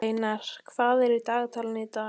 Sveinar, hvað er í dagatalinu í dag?